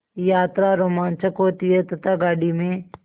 यात्रा रोमांचक होती है तथा गाड़ी में